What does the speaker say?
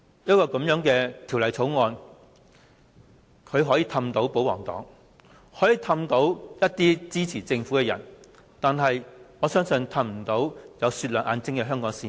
政府可以用這項《條例草案》哄騙保皇黨和支持政府的人，但我相信卻無法哄騙眼睛雪亮的香港市民。